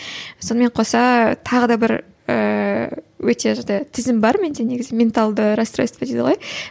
сонымен қоса тағы да бір ііі өте тізім бар менде негізі менталды растройства дейді ғой